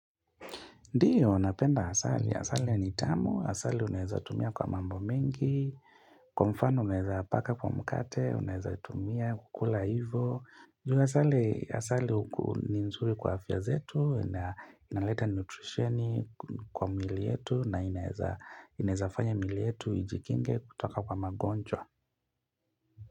Ndiyo, napenda asali. Asali ya ni tamu, asali unaeza tumia kwa mambo mingi. Kwa mfano unaeza paka kwa mkate, unaeza tumia kukula hivo. Juu asali, asali ni nzuri kwa afya zetu, inaleta nutritioni kwa mwili yetu na inaeza, inaeza fanya miili yetu, ijikinge kutoka kwa magonjwa.